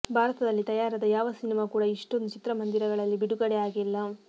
ಭಾರತದಲ್ಲಿ ತಯಾರಾದ ಯಾವ ಸಿನಿಮಾ ಕೂಡ ಇಷ್ಟೊಂದು ಚಿತ್ರಮಂದಿರಗಳಲ್ಲಿ ಬಿಡುಗಡೆ ಆಗಿಲ್ಲ